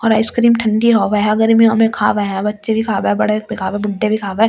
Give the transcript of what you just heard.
और ice cream ठंडी होवे है गर्मियों में खावे है बच्चे भी खावे बड़े भी खावे बुड्ढे भी खावे ये।